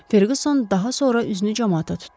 Ferqüson daha sonra üzünü camaata tutdu.